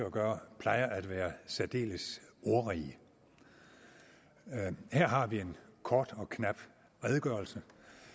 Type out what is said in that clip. at gøre plejer at være særdeles ordrige her har vi en kort og knap redegørelse